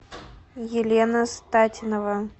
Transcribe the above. елена статинова